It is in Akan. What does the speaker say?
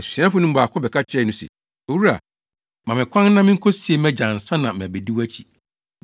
Asuafo no mu baako bɛka kyerɛɛ no se, “Owura, ma me kwan na minkosie mʼagya ansa na mabedi wʼakyi.”